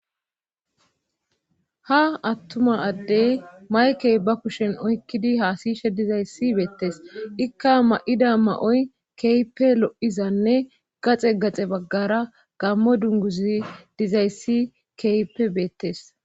ha attuma addey mayke ba kushen oykkidi haasishe dizayssi beettes ikka ma7ida ma7oy keype lo7izanne gaxe gaxe baggara gammo dunguzay dizayssi keehipppe beettes